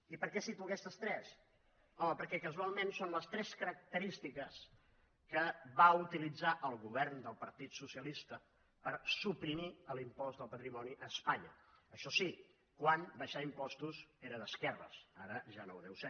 i per què cito aquestes tres home perquè casualment són les tres característiques que va utilitzar el govern del partit socialista per suprimir l’impost del patrimoni a espanya això sí quan baixar impostos era d’esquerres ara ja no ho deu ser